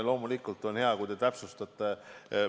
Loomulikult on hea, kui te täpsustate.